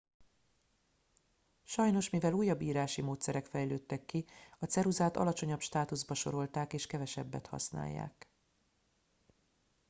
sajnos mivel újabb írási módszerek fejlődtek ki a ceruzát alacsonyabb státuszba sorolták és kevesebbet használják